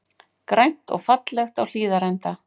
Grænt og fallegt á Hlíðarenda